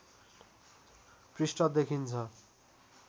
पृष्ठ देखिन्छ